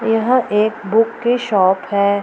यहाँ एक बुक की शॉप है।